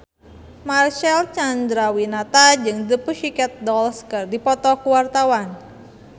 Marcel Chandrawinata jeung The Pussycat Dolls keur dipoto ku wartawan